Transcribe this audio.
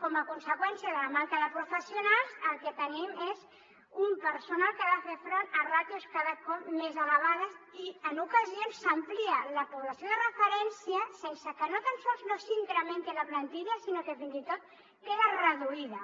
com a conseqüència de la manca de professionals el que tenim és un personal que ha de fer front a ràtios cada cop més elevades i en ocasions s’amplia la població de referència sense que no tan sols no s’incrementi la plantilla sinó que fins i tot queda reduïda